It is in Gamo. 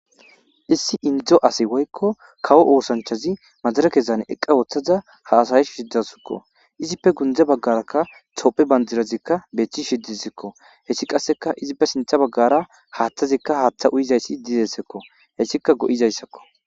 Issi indzo asi woykko kawo oosanchazi majara kesan eqqa ooththaza ha asayi shiddasikko izippe gundze baggaraka cophe bandirazikka beethchi shiddizikko hessi qasseka izippe sintha baggara haaththazikka haaththa uyizayssi dizessekko hessika go7izayssakko.